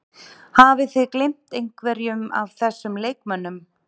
Hafið þið gleymt einhverjum af þessum leikmönnum?